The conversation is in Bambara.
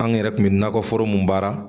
An yɛrɛ kun bɛ nakɔ foro mun baara